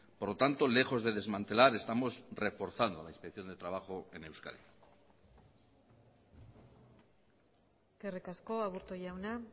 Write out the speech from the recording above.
por lo tanto lejos de desmantelar estamos reforzando la inspección de trabajo en euskadi eskerrik asko aburto jauna